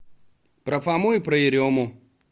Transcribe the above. про фому и про ерему